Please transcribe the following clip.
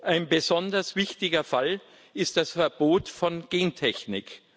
Ein besonders wichtiger Fall ist das Verbot von Gentechnik.